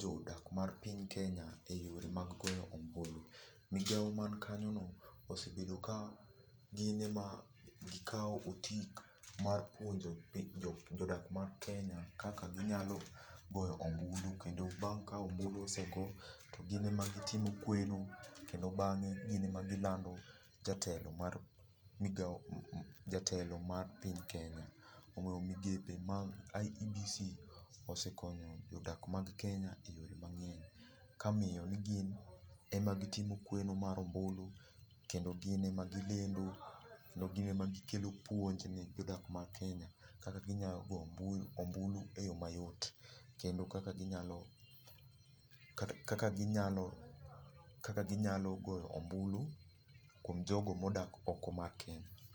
jodak mar piny Kenya e yore mag goyo ombulu. Migao man kanyo no gin ema gisekao otik mar puonjo jodak mar kenya kaka ginyalo goyo ombulu kendo bang ka ombulu osego,,gin ema gitimo kweno kendo bange gin ema gilando jatelo mar piny Kenya. Koro migepe mar IEBC osekonyo jodak mag kenya e yoo mangeny ,kamiyo ni gin ema gitimo kweno mar ombulu, kendo gin ema gilendo, kendo gin ema gikelo puonj ne jodak mag Kenya kaka ginya go ombulu e yoo mayot kendo kaka ginyalo, kaka ginyalo, kaka ginyalo goyo ombulu kuom jogo modak oko mar Kenya